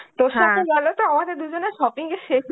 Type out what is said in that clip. তোর সাথে বেরোলে তো আমাদের দুজনের shopping এর শেষ